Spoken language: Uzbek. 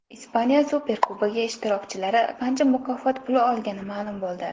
Ispaniya Superkubogi ishtirokchilari qancha mukofot puli olgani ma’lum bo‘ldi.